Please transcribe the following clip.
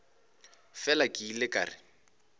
fela ke ile ka re